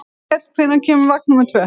Grímkell, hvenær kemur vagn númer tvö?